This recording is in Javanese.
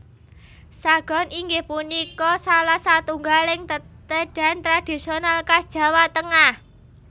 Sagon inggih punika salah satunggaling tetedhan tradisional khas Jawa Tengah